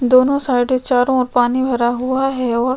दोनों साइडे चारो और पानी भरा हुआ है वो--